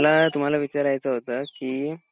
तर विचारायचं होत कि